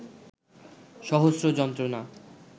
সহস্র যন্ত্রনা